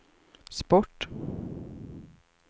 sport